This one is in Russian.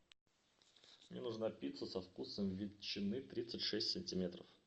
мне нужна пицца со вкусом ветчины тридцать шесть сантиметров